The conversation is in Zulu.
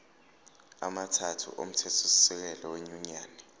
amathathu omthethosisekelo wenyunyane